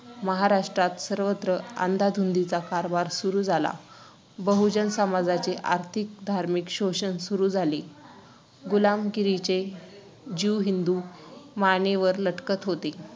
तीलादिला जातो ना मुलींनी हे कपडे घातले.